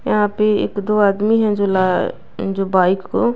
यहाँ पे एक दो आदमी हैं जो ला जो बाइक को --